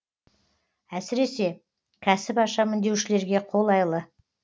әсіресе кәсіп ашамын деушілерге қолайлы